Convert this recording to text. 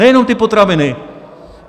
Nejenom ty potraviny.